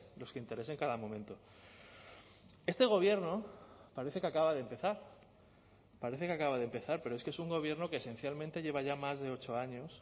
los que interese en cada momento este gobierno parece que acaba de empezar parece que acaba de empezar pero es que es un gobierno que esencialmente lleva ya más de ocho años